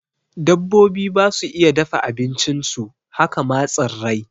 Dabbobi basu iya dafa abincin su, haka ma tsirrai